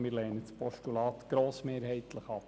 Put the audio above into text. Wir lehnen das Postulat grossmehrheitlich ab.